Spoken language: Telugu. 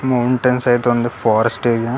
మౌంటెన్స్ అయితే ఉంది ఫారెస్ట్ ఏరియా .